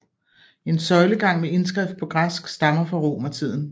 En søjlegang med indskrift på græsk stammer fra romertiden